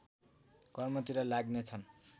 कर्मतिर लाग्ने छन्